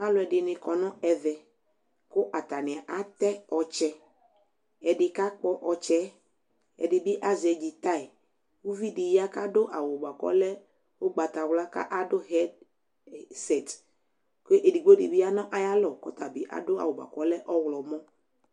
aloedini konueve ateotse edikakpo otse edibiazedjitai ouvidiya kaduavu oleukpatawla aduvesete yanuayalo edigbodi nayalo kaduawu buakolemu aromo